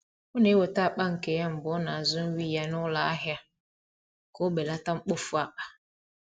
O na-eweta akpa nke ya mgbe ọ na-azụ nri ịnya n’ụlọ ahịa ka o belata mkpofu akpa.